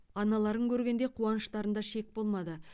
аналарын көргенде қуаныштарында шек болмады